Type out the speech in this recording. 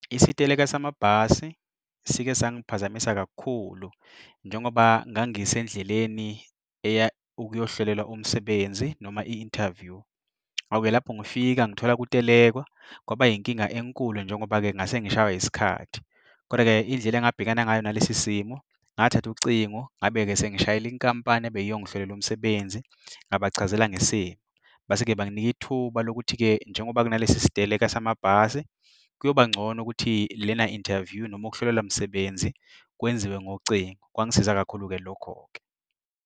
Isiteleka samabhasi sike sangiphazamisa kakhulu njengoba ngangisendleleni eya ukuyohlolelwa umsebenzi, noma i-interview. Awu-ke lapho ngifika ngithole kutelekwa, kwaba inkinga enkulu njengoba-ke ngase ngishawa yisikhathi. Kodwa-ke indlela engabhekana ngayo nalesi simo ngathatha ucingo ngabe-ke sengishayela inkampani ebeyiyongihlolela umsebenzi ngabachazela ngesimo, base-ke banginika ithuba lokuthi-ke njengoba kunalesi siteleka samabhasi kuyoba ngcono ukuthi lena interview noma ukuhlolelwa msebenzi kwenziwe ngocingo. Kwangisiza kakhulu-ke lokho-ke.